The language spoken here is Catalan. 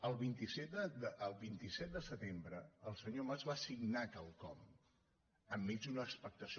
el vint set de setembre el senyor mas va signar quelcom enmig d’una expectació